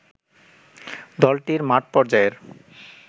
দলটির মাঠ পর্যায়ের